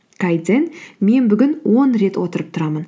мен бүгін он рет отырып тұрамын